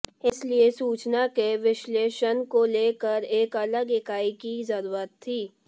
इसीलिए सूचना के विश्लेषण को लेकर एक अलग इकाई की जरूरत थी